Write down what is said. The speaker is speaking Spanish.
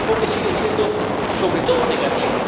Porque el enfoque sigue siendo, sobre todo, negativo.